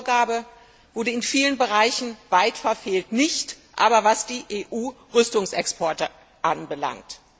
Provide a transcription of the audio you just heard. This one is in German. Diese Vorgabe wurde in vielen Bereichen weit verfehlt, nicht aber, was die Rüstungsexporte der EU anbelangt.